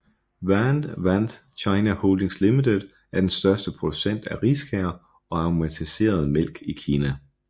Want Want China Holdings Limited er den største producent af riskager og aromatiseret mælk i Kina